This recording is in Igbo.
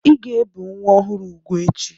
Ị ga-ebi nwa ọhụrụ úgwù echi!